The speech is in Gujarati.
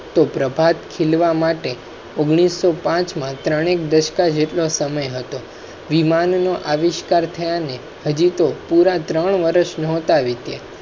પ્રભાત ખીલવા માટે ઓગણીસ પાંચ માં ત્રણેક ધશક જેટલો સમય હતો. વિમાન નો આવિષ્કાર હાજી તોહ પુરા ત્રણ વરસ નહોતા. વીત્યા